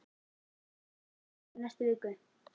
Ég fer til Parísar í næstu viku.